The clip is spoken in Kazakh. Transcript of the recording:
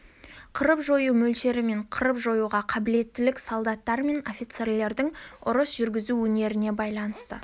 қырып-жою мөлшері мен қырып жоюға қабілеттілік солдаттар мен офицерлердің ұрыс жүргізу өнеріне байланысты